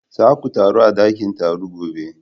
Za ku taru a dakin taro gobe!